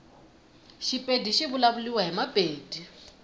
shipedi shivulavuliwa himapedi